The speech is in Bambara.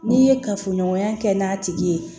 N'i ye kafoɲɔgɔnya kɛ n'a tigi ye